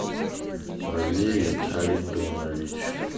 валерий харитонович